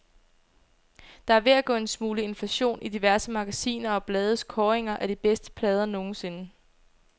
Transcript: Der er ved at gå en smule inflation i diverse magasiner og blades kåringer af de bedste plader nogensinde.